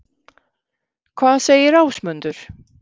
Hvað segir Ásmundur?